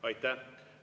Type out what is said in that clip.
Aitäh!